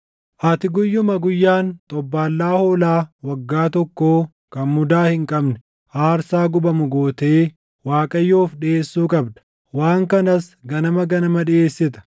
“ ‘Ati guyyuma guyyaan xobbaallaa hoolaa waggaa tokkoo kan mudaa hin qabne aarsaa gubamu gootee Waaqayyoof dhiʼeessuu qabda; waan kanas ganama ganama dhiʼeessita.